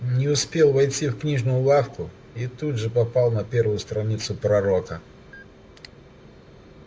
не успел войти в книжную лавку и тут же попал на первую страницу пророка